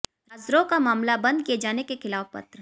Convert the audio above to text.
राजद्रोह का मामला बंद किए जाने के खिलाफ पत्र